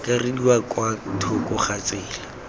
akarediwa kwa thoko ga tsela